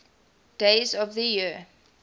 days of the year